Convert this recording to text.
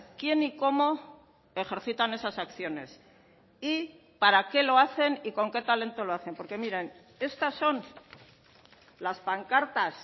quién y cómo ejercitan esas acciones y para qué lo hacen y con qué talento lo hacen porque miren estas son las pancartas